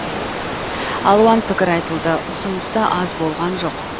алуан пікір айтылды ұсыныс та аз болған жоқ